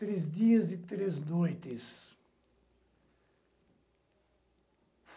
Três dias e três noites.